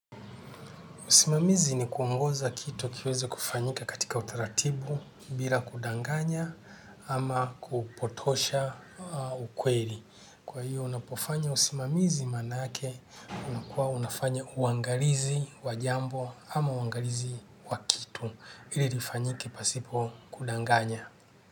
Usimamizi ni kuongoza kitu kiweze kufanyika katika utaratibu bila kudanganya ama kupotosha ukweli. Kwa hiyo unapofanya usimamizi maana yake unakuwa unafanya uangalizi wajambo ama uangalizi wakitu ili lifanyike pasipo kudanganya.